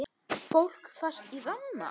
Fólk fast í ramma?